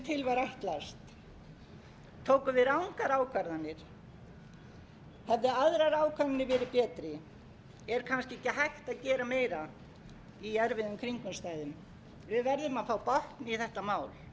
ákvarðanir hefðu aðrar ákvarðanir verið betri er kannski ekki hægt að gera meira í erfiðum kringumstæðum við verðum að fá botn í þetta mál